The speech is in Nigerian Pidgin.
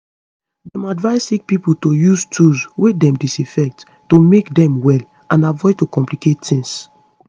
dem advise sick pipo to use use tools wey dem disinfect to make dem well and avoid to complicate tings